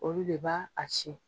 Olu de b'a a ci.